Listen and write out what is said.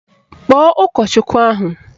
Kpọọ ụkọchukwu ahụ!